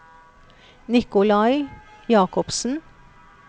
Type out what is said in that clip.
Nikolai Jakobsen